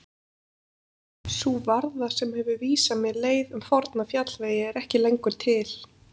Sú varða sem hefur vísað mér leið um forna fjallvegi er ekki lengur til.